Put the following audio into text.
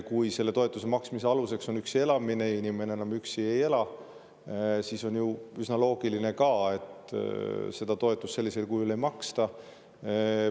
Kui selle toetuse maksmise aluseks on üksi elamine ja inimene enam üksi ei ela, siis on ju ka üsna loogiline, et seda toetust sellisel kujul ei maksta.